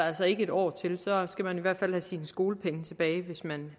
altså ikke et år til den så skal man i hvert fald have sine skolepenge tilbage hvis man